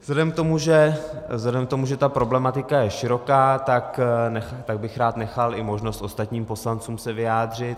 Vzhledem k tomu, že ta problematika je široká, tak bych rád nechal i možnost ostatním poslancům se vyjádřit.